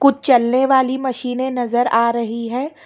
कुछ चलने वाली मशीनें नजर आ रही है।